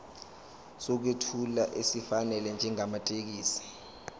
sokwethula esifanele njengamathekisthi